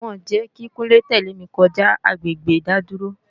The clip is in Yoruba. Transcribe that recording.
Wọn ò jẹ́ kí Kúnlé tẹ̀lé mi kọjá agbègbè ìdádúró